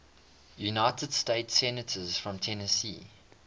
united states senators from tennessee